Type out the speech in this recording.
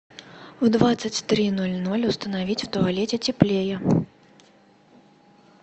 в двадцать три ноль ноль установить в туалете теплее